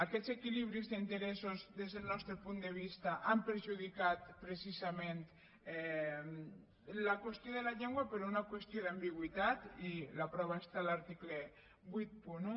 aquests equilibris d’interessos des del nostre punt de vista han perjudicat precisament la qüestió de la llengua per una qüestió d’ambigüitat i la prova està a l’article vuitanta un